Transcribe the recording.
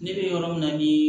Ne bɛ yɔrɔ min na ni